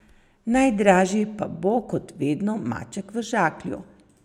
Najdražji pa bo, kot vedno, maček v žaklju.